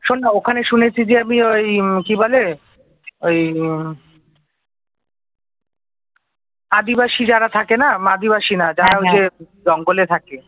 আদিবাসী যারা থাকে না আদিবাসী না যারা ঐ যে জঙ্গলে থাকে